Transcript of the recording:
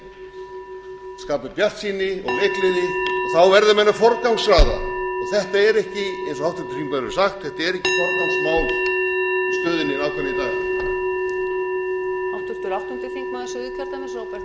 skapa bjartsýni og leikgleði og þá verða menn að forgangsraða þetta er ekki eins og háttvirtur þingmaður hefur sagt forgangsröð í stöðunni í í dag